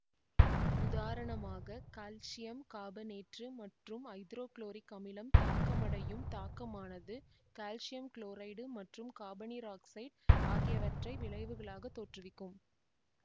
உதாரணமாக கல்சியம் காபனேற்று மற்றும் ஐதரோகுளோரிக் அமிலம் தாக்கமடையும் தாக்கமானது கால்சியம் குளோரைட்டு மற்றும் காபனீரொக்சைட்டு ஆகியவற்றை விளைவுகளாகத் தோற்றுவிக்கும்